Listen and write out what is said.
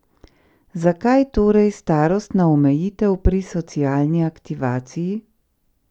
Zakaj torej starostna omejitev pri socialni aktivaciji?